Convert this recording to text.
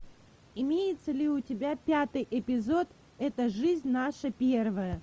имеется ли у тебя пятый эпизод эта жизнь наша первая